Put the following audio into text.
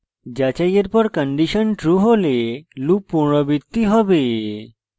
যাচাইয়ের পর condition true হলে loop পুনরাবৃত্তি হবে